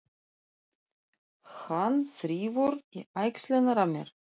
Hann þrífur í axlirnar á mér.